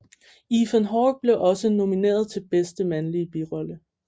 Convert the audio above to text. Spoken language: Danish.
Ethan Hawke blev også nomineret til bedste mandlige birolle